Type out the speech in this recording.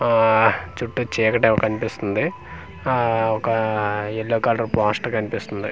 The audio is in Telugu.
అహ్ చుట్టూ చీకటి ఏమో కనిప్పిస్తుంది ఆ ఒక ఏలో కలర్ పోస్టర్ కనిపిస్తుంది.